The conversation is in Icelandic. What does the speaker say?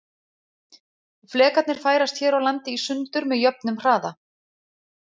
Flekarnir færast hér á landi í sundur með jöfnum hraða.